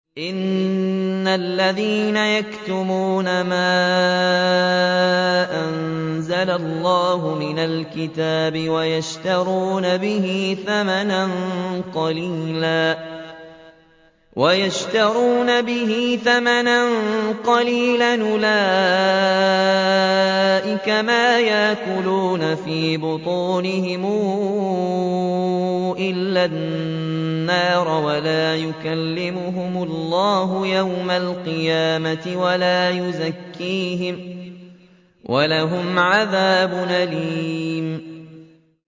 إِنَّ الَّذِينَ يَكْتُمُونَ مَا أَنزَلَ اللَّهُ مِنَ الْكِتَابِ وَيَشْتَرُونَ بِهِ ثَمَنًا قَلِيلًا ۙ أُولَٰئِكَ مَا يَأْكُلُونَ فِي بُطُونِهِمْ إِلَّا النَّارَ وَلَا يُكَلِّمُهُمُ اللَّهُ يَوْمَ الْقِيَامَةِ وَلَا يُزَكِّيهِمْ وَلَهُمْ عَذَابٌ أَلِيمٌ